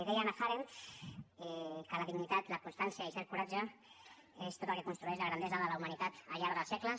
deia hannah arendt que la dignitat la constància i cert coratge és tot el que construeix la grandesa de la humanitat al llarg dels segles